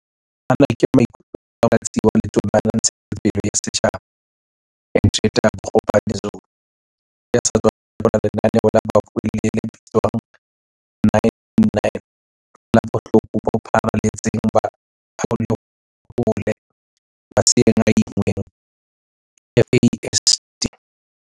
Ana ke maikutlo a Motlatsi wa Letona la Ntshetsopele ya Setjhaba, Hendrietta Bogopane-Zulu, ya sa tswa thakgola lenaneo la bobuelli le bitswang 9-9-9 la Bohloko bo Pharale tseng ba Aklhohole Maseeng a Inngweng FASD.